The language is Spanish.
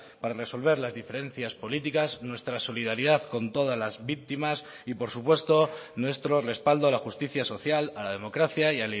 para resolver las diferencias políticas nuestra solidaridad con todas las víctimas y por supuesto nuestro respaldo a la justicia social a la democracia y